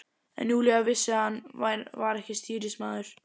En Júlía vissi að hann var ekki stýrimaður.